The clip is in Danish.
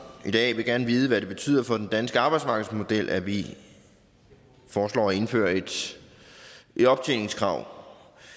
i dag vil gerne vide hvad det betyder for den danske arbejdsmarkedsmodel at vi foreslår at indføre et optjeningskrav